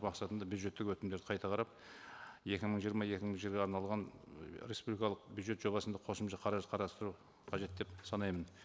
мақсатында бюджеттік өтімдерді қайта қарап екі мың жиырма екі мың арналған ы ресубликалық бюджет жобасында қосымша қаражат қарастыру қажет деп санаймын